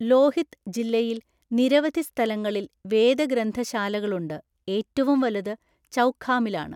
ലോഹിത് ജില്ലയിൽ നിരവധി സ്ഥലങ്ങളിൽ വേദഗ്രന്ഥശാലകളുണ്ട്, ഏറ്റവും വലുത് ചൗഖാമിലാണ്.